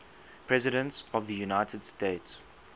presidents of the united states